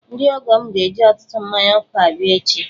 Ndị ọgọ m ga-eji ọtụtụ mmanya ọkụ abịa echi.